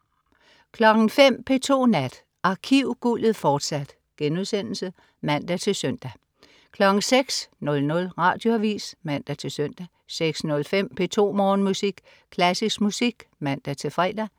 05.00 P2 Nat. Arkivguldet, fortsat* (man-søn) 06.00 Radioavis (man-søn) 06.05 P2 Morgenmusik. Klassisk musik (man-fre)